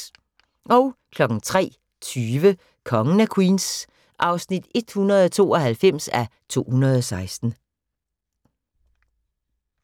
03:20: Kongen af Queens (192:216)